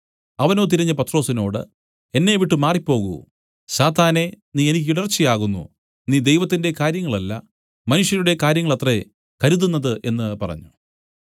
അവനോ തിരിഞ്ഞു പത്രൊസിനോട് എന്നെവിട്ടു മാറിപ്പോകൂ സാത്താനെ നീ എനിക്ക് ഇടർച്ചയാകുന്നു നീ ദൈവത്തിന്റെ കാര്യങ്ങളല്ല മനുഷ്യരുടെ കാര്യങ്ങളത്രേ കരുതുന്നത് എന്നു പറഞ്ഞു